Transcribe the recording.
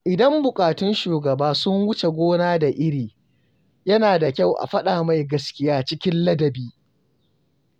Idan buƙatun shugaba sun wuce gona da iri, yana da kyau a faɗa mai gaskiya cikin ladabi.